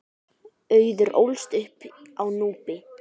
Auður ólst upp á Núpi.